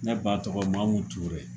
Ne ba tɔgɔMamu Ture